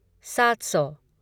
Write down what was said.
सात सौ